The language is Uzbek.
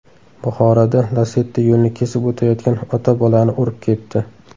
Buxoroda Lacetti yo‘lni kesib o‘tayotgan ota-bolani urib ketdi.